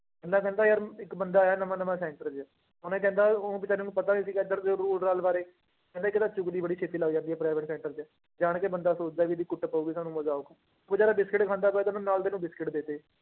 ਇੰਨਾ ਕਹਿੰਦਾ ਯਾਰ ਇੱਕ ਬੰਦਾ ਆਇਆ ਨਵਾਂ ਨਵਾਂ center ਚ ਉਹਨੇ ਕਹਿੰਦਾ ਉਹ ਬੇਚਾਰੇ ਨੂੰ ਪਤਾ ਨੀ ਸੀਗਾ ਇੱਧਰ ਦੇ rule ਰਾਲ ਬਾਰੇ ਕਹਿੰਦੇ ਇੱਕ ਤਾਂ ਚੁਗਲੀ ਬੜੀ ਛੇਤੀ ਲੱਗ ਜਾਂਦੀ ਹੈ private center ਚ, ਜਾਣ ਕੇ ਬੰਦਾ ਸੋਚਦਾ ਵੀ ਇਹਦੇ ਕੁੱਟ ਪਊਗੀ ਸਾਨੂੰ ਮਜ਼ਾ ਆਊਗਾ, ਉਹ ਬੇਚਾਰਾ ਬਿਸਕੁਟ ਖਾਂਦਾ ਪਿਆ ਤੇ ਉਹਨੂੰ ਨਾਲ ਦੇ ਨੂੰ ਬਿਸਕੁਟ ਦੇ ਦਿੱਤੇ